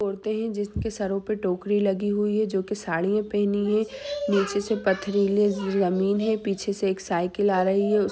औरतें हैं जिनके सरो पे टोकरी लगी हुई है जो कि साड़ियाँ पहनी है नीचे से पथरीली जमीन है पीछे से एक साइकिल आ रही है।